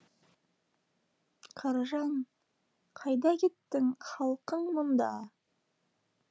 қаражан қайда кеттің халкың мұнда